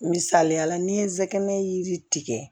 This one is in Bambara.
Misaliyala ni n ye n sɛgɛn yiri tigɛ